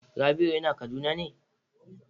Rabiu yana kaduna ne?'